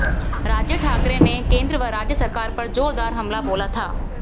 राज ठाकरे ने ने केंद्र व राज्य सरकार पर जोरदार हमला बोला था